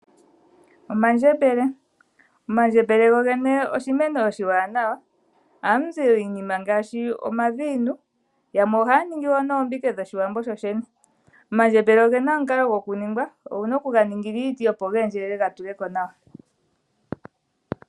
Omandjembele Omandjembele go gene oshimeno oshiwanawa, oha mu zi iinima ngaashi: omaviinu yamwe ohaya ningi wo noombike dhoshiwambo shoshene. Omandjembele ogena omukalo go ku ningwa, owu na oku ga ningila iiti opo ga endjelele ga tuleko nawa.